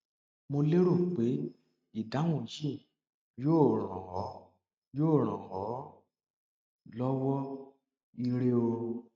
mo lérò pé ìdáhùn yìí yóò ràn ọ yóò ràn ọ lọwọ ire o